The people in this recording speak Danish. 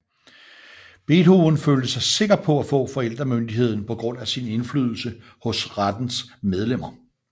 Beethoven følte sig sikker på at få forældremyndigheden på grund af sin indflydelse hos rettens medlemmer